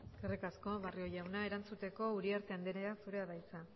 eskerrik asko barrio jauna erantzuteko uriarte andrea zurea da hitza